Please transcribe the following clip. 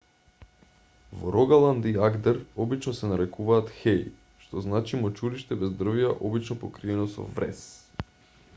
во рогаланд и агдер обично се нарекуваат хеи што значи мочуриште без дрвја обично покриено со врес